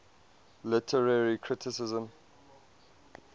literary criticism